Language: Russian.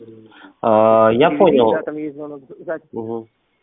я понял